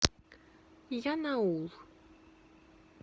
янаул